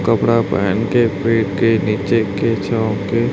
कपड़ा पहन के पेड़ के नीचे के छांव के--